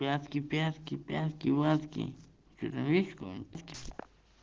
пятки пятки пятки вятки че там есть кто